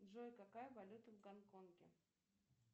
джой какая валюта в гонконге